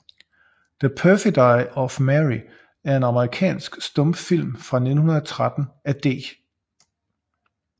The Perfidy of Mary er en amerikansk stumfilm fra 1913 af D